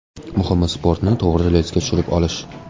Muhimi sportni to‘g‘ri relsga tushirib olish.